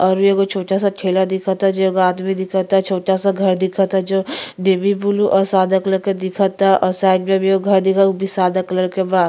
और एगो छोटा सा ठेला दिखता जे एगो आदमी दिखता छोटा सा घर दिखता जो नेवी ब्लू और सादा कलर के दिखता और साइड में भी एगो घर दिखता वो भी सादा कलर के बा।